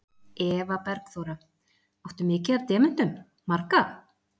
Eva Bergþóra: Áttu mikið af demöntum, marga?